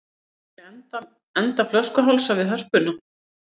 Sér fyrir enda flöskuhálsa við Hörpuna